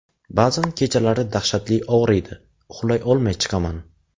Ba’zan kechalari dahshatli og‘riydi, uxlay olmay chiqaman.